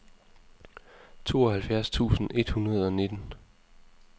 tooghalvfjerds tusind et hundrede og nitten